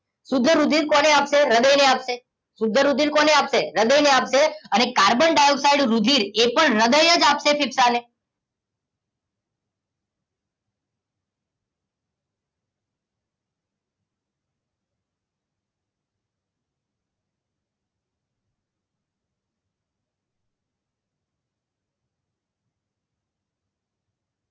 શુદ્ધ રુધિર કોને આપશે હૃદયને આપશે શુદ્ધ રુધિર કોને આપશે હૃદયને આપશે અને કાર્બન ડાયોક્સાઇડ રુધિર એ પણ હૃદય જ આપશે ફેફસાને